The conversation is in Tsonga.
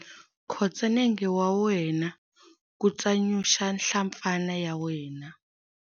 Khotsa nenge wa wena ku tsanyusa nhlampfana ya wena.